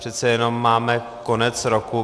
Přece jenom máme konec roku.